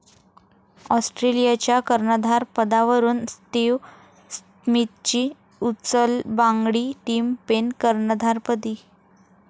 ऑस्ट्रेलियाच्या कर्णधारपदावरून स्टीव्ह स्मिथची उचलबांगडी, टीम पेन कर्णधारपदी